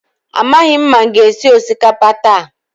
Amaghị m ma m ga-esi osikapa taa.